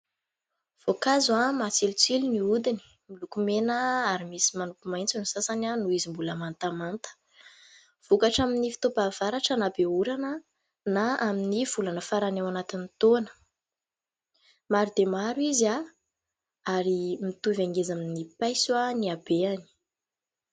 Voankazo matsilotsilo ny hodiny, miloko mena ary misy manopy maitso ny sasany noho izy mbola mantamanta. Vokatra amin'ny fotoam-pahavaratra, na be orana, na amin'ny volana farany ao anatin'ny taona. Maro dia maro izy ary mitovy hangeza amin'ny paiso ny habehany.